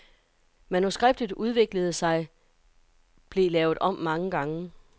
Manuskriptet udviklede sig, blevet lavet om mange gange.